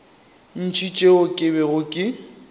ntši tšeo ke bego ke